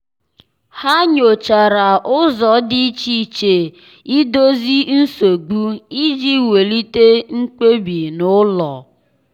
há nyòchàrà ụ́zọ́ dị́ iche iche iche ídòzì nsogbu iji wèlíté mkpebi n’ụ́lọ́.